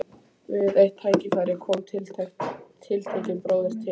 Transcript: Við eitt tækifæri kom tiltekinn bróðir til